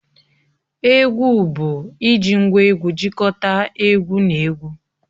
Egwu bụ iji ngwá egwu jikọta egwu na egwu